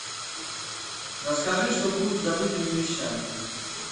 расскажи что будет с забытыми вещами